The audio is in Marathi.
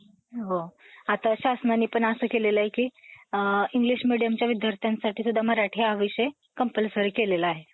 अकरावीचं. कारण ह्यांच्यातून प्रश्न जास्तीत जास्त विचारले गेलेले आहेत. ठीके? याशिवाय, शिक्षणाशिवाय लोकांचा उद्धार होणार नाही हे ओळखून, एनिफेन्स्टन यांच्या मदतीनं,